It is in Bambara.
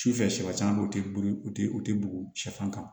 Su fɛ shɛ caman bɛ yen o tɛ boli u tɛ u tɛ bugun sɛfan kan